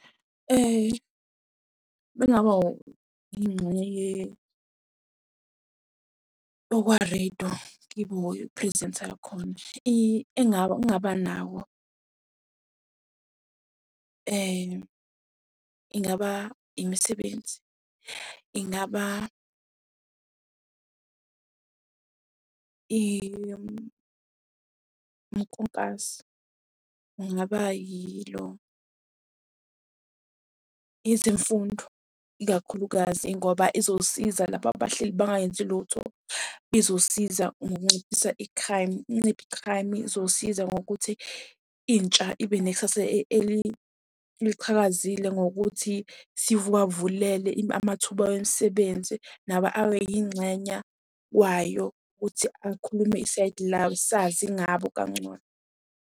Uma ngingaba yingxenye yokwarediyo, ngibe prezentha yakhona. Engingaba nawo ingaba imisebenzi, ingaba . Kungaba yilo, ezemfundo, ikakhulukazi ngoba izosiza laba abahleli bangayenzi lutho. Izosiza ngokunciphisa i-crime, nciphe i-crime izosiza ngokuthi intsha ibe nekusasa eliqhakazile ngokuthi sivuwavulele amathuba wemisebenzi nabo abe yingxenya wayo, ukuthi akhulume isayidi lawo, sazi ngabo kangcono.